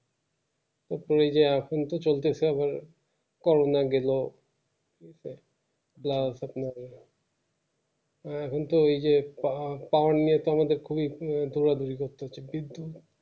এখনই যে এখন তো চলতেছে আবার corona র জন্য এখন তো এই যে পা~ power নিয়ে তো আমাদের খুবই এ দৌড়াদোড়ি করতে হচ্ছে